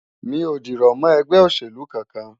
Mi ò dìrọ̀ mọ́ ẹgbẹ́ òṣèlú kankan.